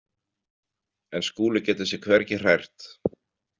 En Skúli getur sig hvergi hrært.